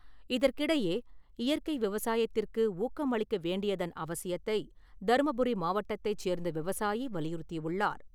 இதற்கிடையே இயற்கை விவசாயத்திற்கு ஊக்கம் அளிக்க வேண்டியதன் அவசியத்தை தருமபுரி மாவட்டத்தைச் சேர்ந்த விவசாயி வலியுறுத்தியுள்ளார்.